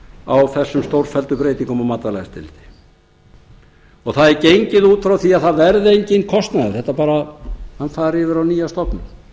á þessum stórfelldu breytingum á matvælaeftirliti það er gengið út frá því að það verði enginn kostnaður hann fari yfir á nýja stofnun